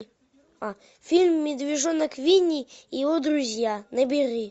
фильм медвежонок винни и его друзья набери